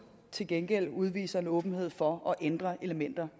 til gengæld udviser en åbenhed over for at ændre elementer